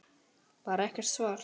Bara er ekkert svar.